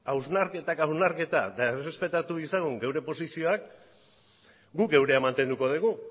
hausnarketak hausnarketa eta errespetatu ditzagun geure posizioak guk geurea mantenduko dugu